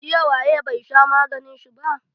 Jiya waye bai sha maganin shi ba?